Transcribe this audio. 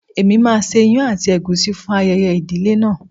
Èmi máa ṣe ìyàn àti ègúsí fún ayẹyẹ ìdílé náà.